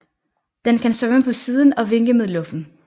Den kan svømme på siden og vinke med luffen